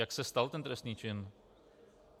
Jak se stal ten trestný čin?